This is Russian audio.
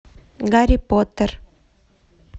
гарри поттер